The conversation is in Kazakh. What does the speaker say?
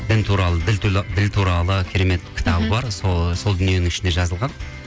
дін туралы діл туралы керемет кітабы бар сол дүниенің ішінде жазылған